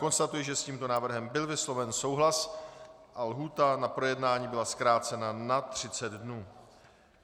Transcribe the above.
Konstatuji, že s tímto návrhem byl vysloven souhlas a lhůta na projednání byla zkrácena na 30 dnů.